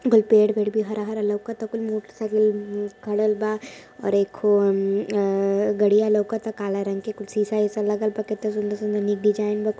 कुल पेड़ वेढ़ भी हरा-हरा लउकत आ कुल मोटर साईकिल खडल बा और एक गडिया लउकता कला रंग के कुछ शीशा -वीसा लगल बा केत्ता सुन्दर-सुन्दर नीक डिज़ाइन बा।